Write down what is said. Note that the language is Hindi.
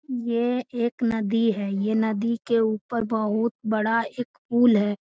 ये एक नदी है। ये नदी के ऊपर बहुत बड़ा एक पूल है।